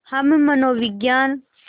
हम मनोविज्ञान